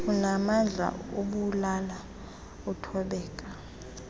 unaamandla ubulala uthobeka